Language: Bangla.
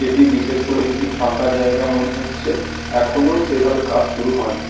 এটি বিশেষ করে একটি ফাঁকা জায়গা মনে হচ্ছে। এখনো সেভাবে কাজ শুরু হয়নি।